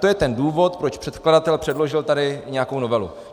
To je ten důvod, proč předkladatel předložil tady nějakou novelu.